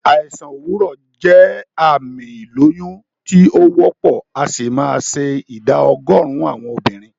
Àìsàn òwúrọ̀ jẹ́ àmì ìlóyún tí o wópò, asì ma se ìdá ogórín àwon obìrin